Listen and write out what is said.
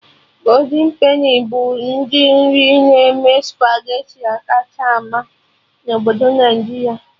Goldin peni bụ ndị nri na-eme spageti akacha ma na obodo Naijiria